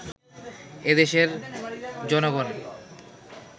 এদেশের জনগণ